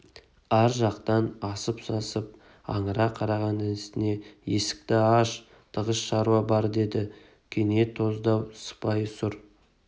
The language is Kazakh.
ар жақтан асып-сасып аңыра қараған інісіне есікті аш тығыз шаруа бар деді кене тоздау сыпайы сұр